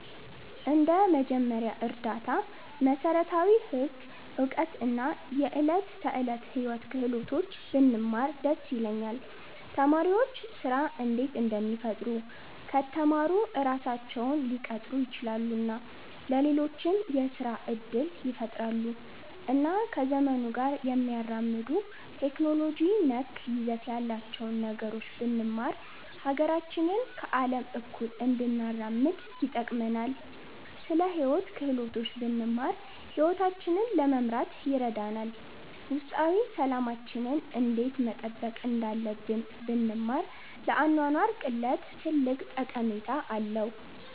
እንደ መጀመሪያ እርዳታ፣ መሠረታዊ ህግ እውቀት እና የዕለት ተዕለት ሕይወት ክህሎቶች ብንማር ደስ ይለኛል። ተማሪዎች ስራ እንዴት እንደሚፈጥሩ ከተማሩ ራሳቸውን ሊቀጥሩ ይችላሉ እና ለሌሎችም የስራ እድል ይፈጥራሉ። እና ከዘመኑ ጋር የሚያራምዱ ቴክኖሎጂ ነክ ይዘት ያላቸውን ነገሮች ብንማር ሀገራችንን ከአለም እኩል እንድናራምድ ይጠቅመናል። ስለ ሂወት ክህሎቶች ብንማር ሂወታችንን ለመምራት ይረዳናል። ውስጣዊ ሠላማችንን እንዴት መጠበቅ እንዳለብን ብንማር ለአኗኗር ቅለት ትልቅ ጠቀሜታ አለዉ።